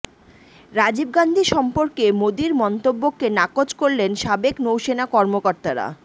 রাজীব গান্ধী সম্পর্কে মোদির মন্তব্যকে নাকচ করলেন সাবেক নৌসেনা কর্মকর্তারা